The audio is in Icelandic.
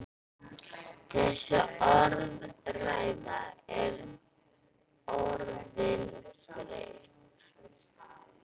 Þessi orðræða er orðin þreytt!